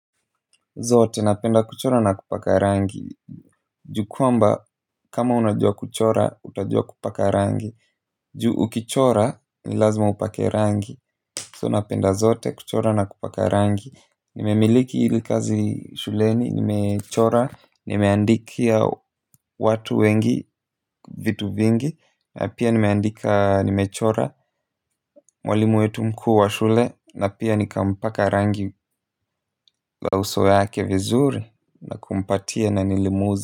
Zote napenda kuchora na kupaka rangi ju kwamba kama unajua kuchora utajua kupaka rangi juu ukichora ni lazima upake rangi so napenda zote kuchora na kupaka rangi nimemiliki hili kazi shuleni nimechora nimeandikia watu wengi vitu vingi pia nimechora mwalimu wetu mkuu wa shule na pia nikampaka rangi la uso yake vizuri na kumpatia na nili.